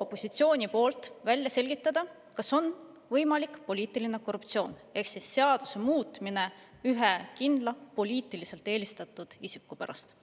opositsioonil soov välja selgitada, kas on võimalik poliitiline korruptsioon ehk seaduse muutmine ühe kindla poliitiliselt eelistatud isiku pärast.